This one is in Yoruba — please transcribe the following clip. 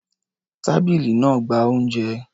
Tábìlì náà ń gba oúnjẹ.